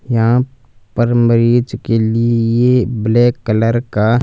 यहां पर मरीज के लिए ब्लैक कलर का--